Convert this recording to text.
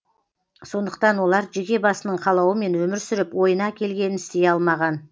сондықтан олар жеке басының қалауымен өмір сүріп ойына келгенін істей алмаған